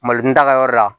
Malitaga yɔrɔ la